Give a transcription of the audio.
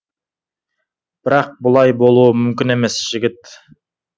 бірақ бұлай болуы мүмкін емес жігіт